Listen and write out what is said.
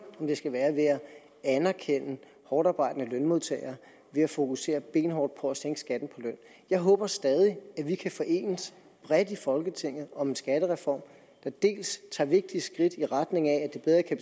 om det skal være at anerkende hårdtarbejdende lønmodtagere ved at fokusere benhårdt på at sænke skatten på løn jeg håber stadig at vi kan enes bredt i folketinget om en skattereform der tager vigtige skridt i retning af at det bedre kan